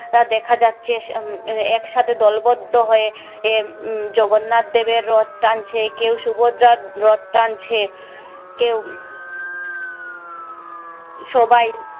দেখা যাচ্ছে আহ এক সাথে দলবদ্ধ হয়ে আহ উম জগন্নাথ দেবের রথ টানছে কেউ সুভদ্রার রথ টানছে কেউ সবাই